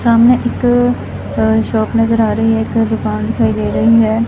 ਸਾਹਮਣੇ ਇੱਕ ਸ਼ੌਪ ਨਜ਼ਰ ਆ ਰਹੀ ਹੈ ਇੱਕ ਦੁਕਾਨ ਦਿਖਾਈ ਦੇ ਰਹੀ ਹੈ।